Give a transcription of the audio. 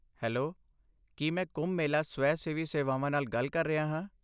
Hello, ਕੀ ਮੈਂ ਕੁੰਭ ਮੇਲਾ ਸਵੈ ਸੇਵੀ ਸੇਵਾਵਾਂ ਨਾਲ ਗੱਲ ਕਰ ਰਿਹਾ ਹਾਂ?